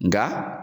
Nka